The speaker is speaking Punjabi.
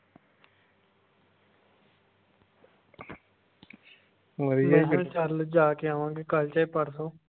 ਮੈਂ ਹਾਂ ਚੱਲ ਜਾ ਕੇ ਆਵਾਂਗੇ ਕੱਲ ਜੇ ਪਰਸੋਂ।